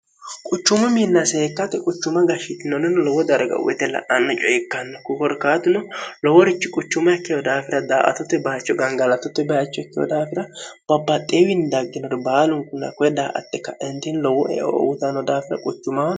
quchumu minna seekkate quchuma gashshitinonnoni lowo darga uyite la'anni coye ikkanno kuforkaatuno loworichi quchuma ikkeho daafira daaatotte baacho gangalatotte baacho ikkeho daafira babaxxeewiini dagginori baalunkuna ko daa atte kaintin lowo eoutano daafira quchumamo